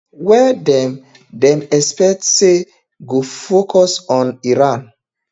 wey dem dem expect say go focus on iran